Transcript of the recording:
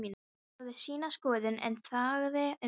Hann hafði sína skoðun en þagði um hana.